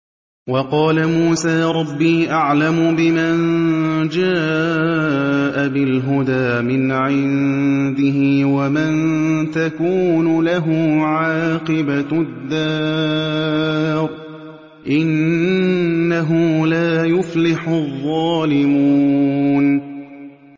وَقَالَ مُوسَىٰ رَبِّي أَعْلَمُ بِمَن جَاءَ بِالْهُدَىٰ مِنْ عِندِهِ وَمَن تَكُونُ لَهُ عَاقِبَةُ الدَّارِ ۖ إِنَّهُ لَا يُفْلِحُ الظَّالِمُونَ